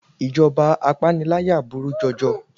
Ìjọba apániláyà burú jọjọ